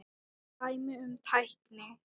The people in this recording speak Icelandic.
Dæmi um tækni